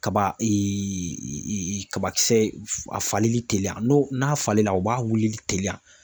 Kaba kabakisɛ a faleli teliya n'o n'a falenna o b'a wulili teliya.